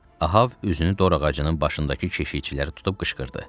Ahav üzünü dorağacının başındakı keşikçilərə tutub qışqırdı.